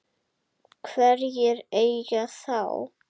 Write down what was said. Hverjir eiga þá?